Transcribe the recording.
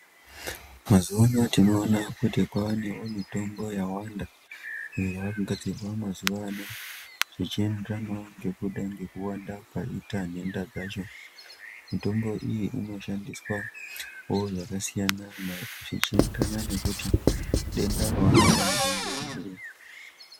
Mazuwa ano tinoona kuti kwaanewo mitombo yawanda iyo yaakugadzirwa mazuwa ano zvichienderanawo ngekudai ngekuwanda kwaita nhenda dzacho mitombo iyi inoshandiswa wo zvakasiyana zvichienderana nekuti denda rawarwara naro ngeriri.